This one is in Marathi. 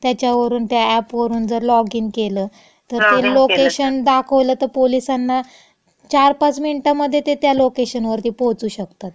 त्याच्यावरून त्या अॅपवरून जर लॉग इन केलं तर ते लोकेशन दाखवलं तं पोलिसांना, चार पाच मिंटामधे ते त्या लोकेशनवरती पोहोचू शकतात. लॉग इन केलं तर.